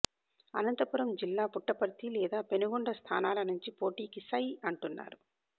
అనంతపురం జిల్లా పుట్టపర్తి లేదా పెనుకొండ స్థానాల నుంచి పోటీకి సై అంటున్నారు